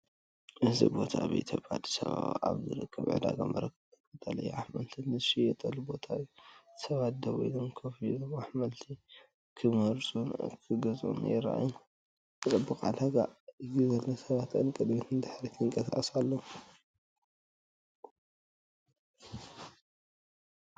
እዚ ቦታ ኣብ ኢትዮጵያ ኣዲስ ኣበባ ኣብ ዝርከብ ዕዳጋ መርካቶ ቀጠልያ ኣሕምልቲ ዝሽየጠሉ ቦታ እዩ። ሰባት ደው ኢሎም ኮፍ ኢሎም ኣሕምልቲ ክመርጹን ክገዝኡን ይረኣዩ። ጽዑቕ ዕዳጋ እዩ ዘሎ ሰባት ንቕድሚትን ንድሕሪትን ይንቀሳቐሱ ኣለዉ።